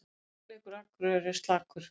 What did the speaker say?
Sóknarleikur Akureyrar er slakur